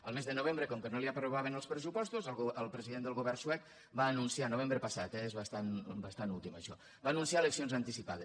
el mes de novembre com que no li aprovaven els pressupostos el president del govern suec novembre passat eh és bastant últim això va anunciar eleccions anticipades